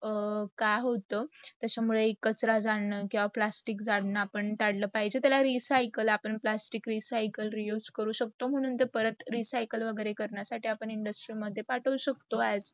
काय होत, त्याचा मुडे कचरा झाडणं किव्वा प्लास्टिक जादन आपण तडलं पाहिजे. त्याला रिसायकल आपण पास्टिक रिसायकल, re use करू शकतो. म्हणून ते परत, रिसायकल वगैरे करण्या साठी आपण industry मध्ये पाठवू शकतो as